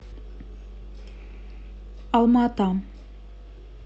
алма ата